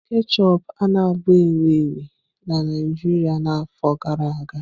Ketchup a-na bụ ewu ewu na Naijiria na afọ gara aga.